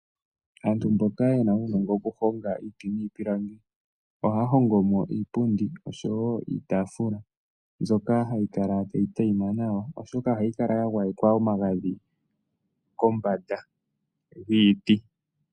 Aantu mboka ye na uunongo oku honga iiti niipilangi, ohaa hongo mo iipundi osho wo iitaafula mbyoka hayi kala tayi tayima nawa, oshoka oha yi kala ya gwayekwa omagadhi kombanda yiiti.